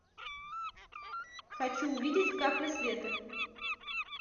хочу увидеть капля света